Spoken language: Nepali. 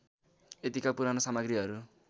यतिका पुराना सामग्रीहरू